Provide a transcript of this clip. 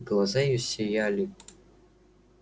глаза её сияли